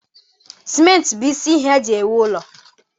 Simenti bụ isi ihe eji ewu ụlọ